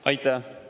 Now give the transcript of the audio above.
Aitäh!